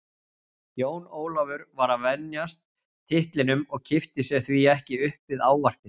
Jón Ólafur var að venjast titlinum og kippti sér því ekki upp við ávarpið.